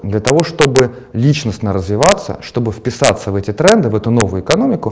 для того чтобы личностно развиваться чтобы вписаться в эти тренды в эту новую экономику